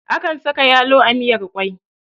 Akan saka yalo a miyar kwai